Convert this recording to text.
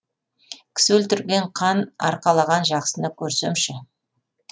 кісі өлтірген қан арқалаған жақсыны көрсемші